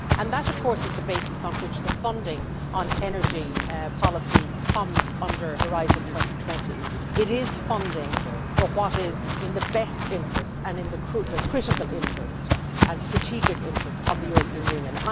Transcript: That, of course, is the basis on which the funding on energy policy comes under Horizon 2020. It is funding for what is in the best interest, and in the critical interest and strategic interest of the European Union.